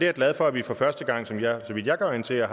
er glad for at vi for første gang så vidt jeg kan orientere